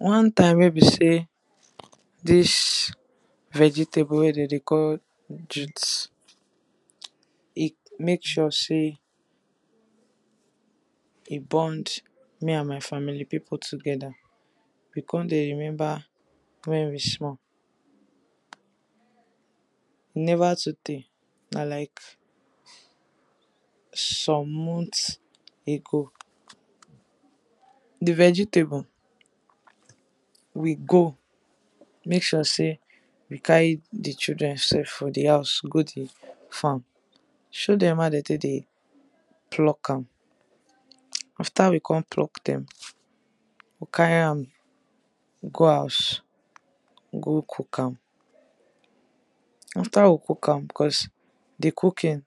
One time wey be sey dis vegetable wey dem dey call jut, e make sure e bond me and my family people together. We come dey remember wen we small, e never too tey na like some months ago. Di vegetable we go make sure sey we carry di children sef for di house go di farm, show dem how dem take dey pluck am, after we come pluck dem, we carry dem go house to cook am, after we cook am, because di cooking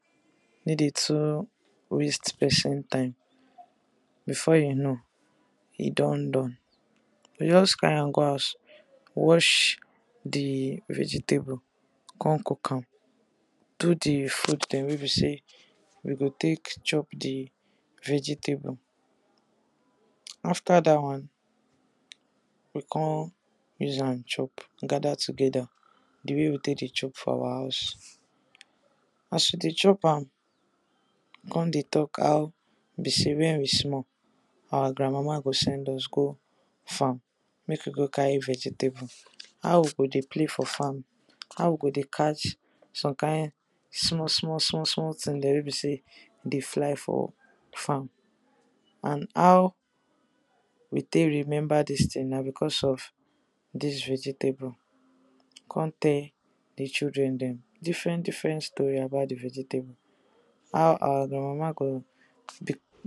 no dey too waste person time before you know, e don done. You go just carry am go house, wash di vegetable come cook am, do di food thing wey be sey you go take chop di vegetable. After dat one we come use am chop, gather together, di way we take dey chop for our house as we dey chop am come dey talk how e be sey wen we small, our grand mama go send us go farm make we go carry vegetable, how we go dey play for farm, how we go dey catch some kind small small small things dem we be sey dey fly for farm. And how take remember dis thing na because of dis vegetable, we go come tell di children dem different different story about di vegetable, how our rand mama go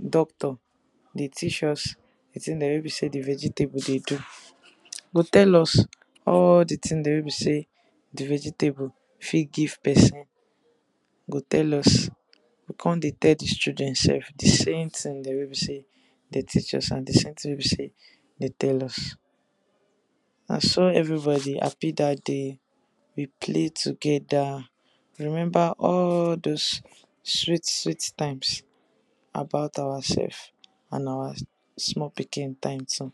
doctor dey teach us di thing dem wey be sey di vegetable dey do. Go tell us all di things dem wey be sey di vegetable fit give person, go tell us. come dey tell dis children sef di same thing dem wey be sey dem teach us and di same thing dem wey be sey dem tell us. Na so everybody happy dat day, we play together, remember all doz sweet sweet times about ourself and our small pikin time too.